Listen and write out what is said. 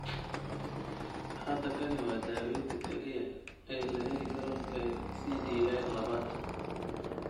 Hadda kani waa daawaynta kaliya ee la heli karo ee CDA labad.